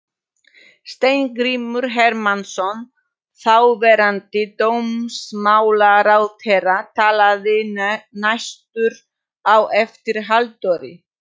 Steingrímur Hermannsson, þáverandi dómsmálaráðherra, talaði næstur á eftir Halldóri.